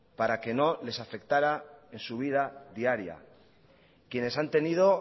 para que no les afectara en su vida diaria quienes han tenido